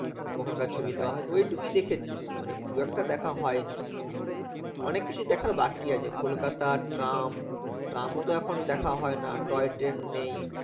ওখানকার ছবি দেওয়া হয় তো ওই টুকুই দেখেছি মানে খুব একটা দেখা হয়নি অনেক কিছুই দেখার বাকি আছে কলকাতা ট্রাম ট্রামও তো এখন দেখা হয় না toy train নেই।